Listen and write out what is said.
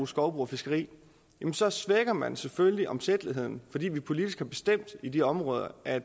skovbrug og fiskeri så svækker man selvfølgelig omsætteligheden fordi vi politisk har bestemt i de områder at